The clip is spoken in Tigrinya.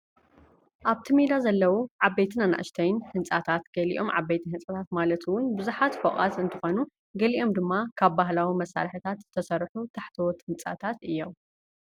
ኣብቲ ሜዳ ዘለዉ ዓበይትን ኣናእሽትን ህንፃታት ገሊኦም ዓበይቲ ህንፃታት ማለት እውን ብዙሓት ፎቆት እንትኾኑ ገሊኦም ድማ ካብ ባህላዊ መሳርሕታት ዝተሰርሑ ታሕተዎት ህንፃታት እዮም፡